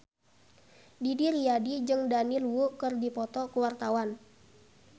Didi Riyadi jeung Daniel Wu keur dipoto ku wartawan